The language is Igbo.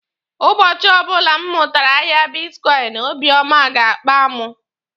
Ụbọchị ọbụla m mụtara ahịa bitkọịnị, obiọma ga-akpa mụ.